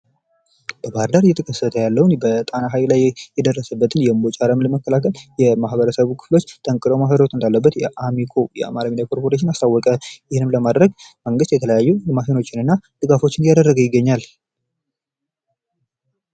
በባህር ዳር በጣና ሀይቅ ላይ የደረሰበትን የእንቦጭ አረም ለመከላከል ማህበረሰቡ መጠንከር እንዳለበት አማኮ አሳወቀ። ይህንንም ለማድረግ መንግስት ከፍተኛ ድርሻ እየወሰደ ይገኛል።